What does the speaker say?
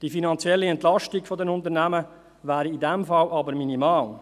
Die finanzielle Entlastung der Unternehmen wäre in diesem Fall jedoch minimal.